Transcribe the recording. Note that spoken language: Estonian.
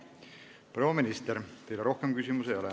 Proua minister, teile rohkem küsimusi ei ole.